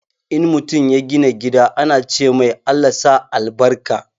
In mutum ya gina gida ana cemai "Allah sa albarka"